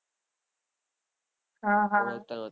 હા હા